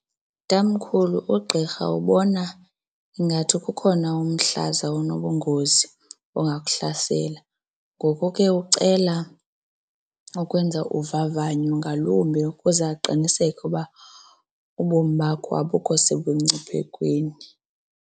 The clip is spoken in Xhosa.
Tamkhulu, ugqirha ubona ingathi kukhona umhlaza onobungozi ongakuhlasela. Ngoku ke ucela ukwenza uvavanyo ngalumbe ukuze aqiniseke uba ubomi bakho abukho sebungciphekweni.